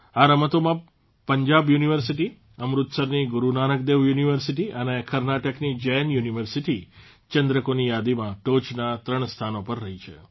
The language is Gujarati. આ રમતોમાં પંજાબ યુનિવર્સિટી અમૃતસરની ગુરૂ નાનકદેવ યુનિવર્સિટી અને કર્ણાટકની જૈન યુનિવર્સિટી ચંદ્રકોની યાદીમાં ટોચના ત્રણ સ્થાનો પર રહી છે